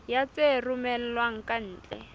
ya tse romellwang ka ntle